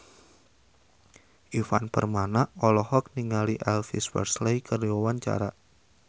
Ivan Permana olohok ningali Elvis Presley keur diwawancara